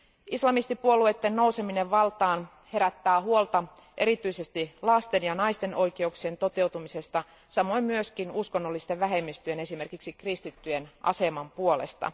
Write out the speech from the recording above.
Islamistipuolueiden nouseminen valtaan herättää huolta, erityisesti lasten ja naisten oikeuksien toteutumisesta, samoin myös uskonnollisten vähemmistöjen, esimerkiksi kristittyjen aseman puolesta.